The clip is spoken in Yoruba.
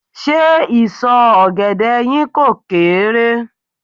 Ṣé ìsọ̀ ọ̀gẹ̀dẹ̀ yín kò kééré?